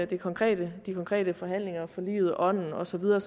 de konkrete de konkrete forhandlinger og forliget og ånden og så videre